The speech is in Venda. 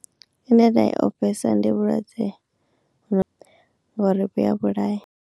I ne nda i ofhesa ndi vhulwadze ngori vhuya vhulaya.